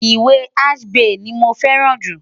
Ìwé Achebe ni mo fẹ́ràn jù.